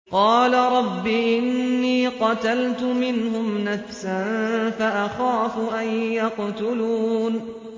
قَالَ رَبِّ إِنِّي قَتَلْتُ مِنْهُمْ نَفْسًا فَأَخَافُ أَن يَقْتُلُونِ